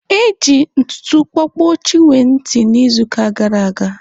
E ji ntụtụ kpọpuo Chinwe ntị n'izuụka gara aga.